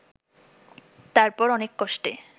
তারপর অনেক কষ্টে